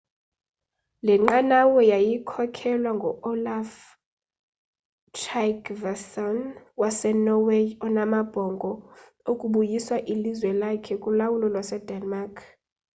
le nqanawa yayikhokelwa ngu-olaf trygvasson wasenorway onamabhongo okubuyisa ilizwe lakhe kulawulo lwasedenmark